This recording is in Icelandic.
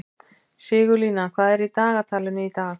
Sigurlína, hvað er í dagatalinu í dag?